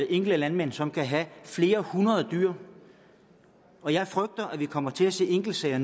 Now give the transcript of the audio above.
enkelte landmænd som kan have flere hundrede dyr og jeg frygter at vi nu kommer til at se enkeltsager